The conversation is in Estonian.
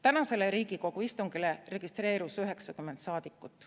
Tänasele Riigikogu istungile registreerus 90 saadikut.